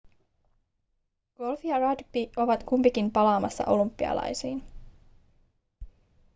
golf ja rugby ovat kumpikin palaamassa olympialaisiin